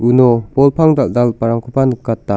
uno bol pang dal·dalgiparangkoba nikata.